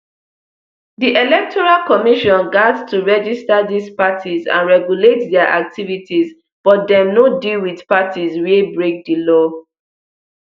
di electoral commission gat to register dis parties and regulate dia activities but dem no deal wit parties wia break di law